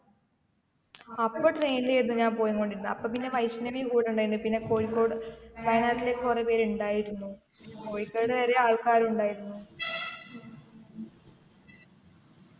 അപ്പൊ train ലായിരുന്നു ഞാൻ പോയിൻകൊണ്ടിരുന്നെ അപ്പൊ പിന്നെ വൈഷ്ണവിം കൂടെ ഉണ്ടായിന്ന് പിന്നെ കോഴിക്കോട് വയനാട്ടിലേക്ക് കൊറേ പേര് ഉണ്ടായിരുന്നു കോഴിക്കോട് വരെ ആൾക്കാരുണ്ടായിരുന്നു